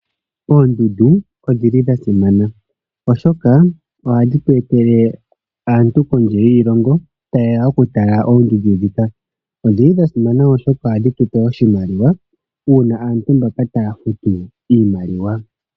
Oondundu odhili dha simana oshoka odhili hadhi tu etele aantu kondje yiishilongo tayeya oku tala oondundu dhika. Odhili dhasimana oshoka ohadhi tu etele oshimaliwa una aantu mbaka taya futu oshimaliwa.